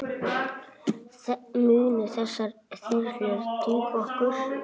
Munu þessar þyrlur duga okkur?